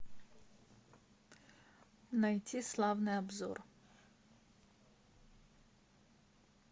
найти славный обзор